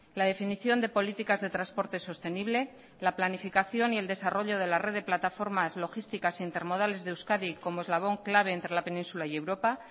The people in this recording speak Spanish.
la definición de políticas de transporte sostenible la planificación y el desarrollo de la red de plataformas logísticas e intermodales de euskadi como eslabón clave entre la península y europa